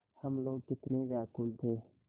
हम लोग कितने व्याकुल थे